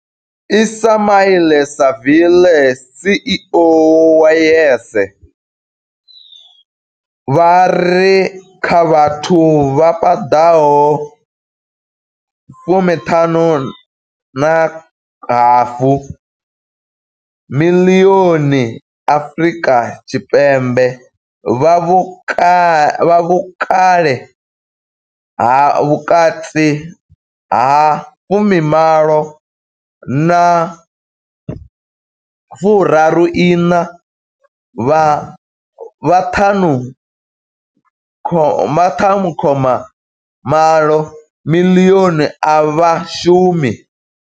Ismail-Saville CEO wa YES, vha ri kha vhathu vha 15.5 miḽioni Afrika Tshipembe vha vhukale ha vhukati ha 18 na 34, vha 5.8 miḽioni a vha shumi.